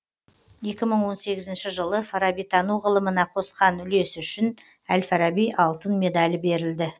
екі мың он сегізінші жылы фарабитану ғылымына қосқан үлесі үшін әл фараби алтын медалі берілді